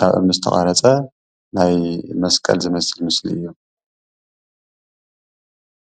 ካብ እምኒ ዝተቀረፀ ናይ መስቀል ዝመስል ምስሊ እዩ፡፡